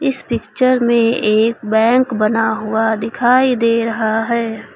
इस पिक्चर में एक बैंक बना हुआ दिखाई दे रहा है।